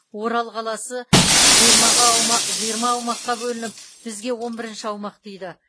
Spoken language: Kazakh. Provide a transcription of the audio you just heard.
орал қаласы жиырма аумаққа бөлініп бізге он бірінші аумақ тиді